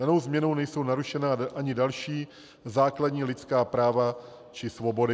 Danou změnou nejsou narušena ani další základní lidská práva či svobody.